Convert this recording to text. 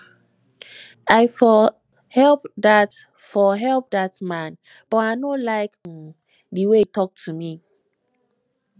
i for help dat for help dat man but i no like um the way he talk to me